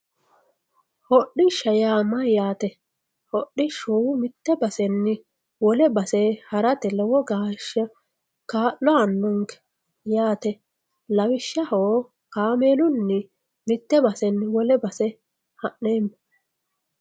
Hodhisha yaa mayate, hodhishu mite basenni wole base harate lowo geesha kaa'lo aano'nke yaate lawishaho kaamelunni mite basenni wole base ha'neemo.